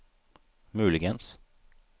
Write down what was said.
muligens